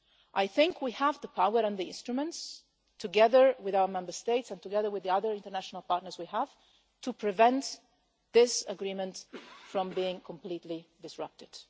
I think we have the power and the instruments, together with our Member States and together with the other international partners we have, to prevent this agreement from being completely disrupted.